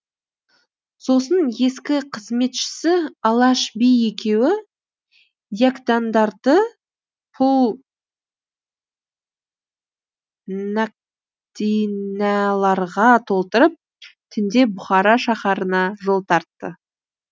сосын ескі қызметшісі алаш би екеуі йәкдандарды пұл нәқдинәларға толтырып түнде бұхара шаһарына жол тартты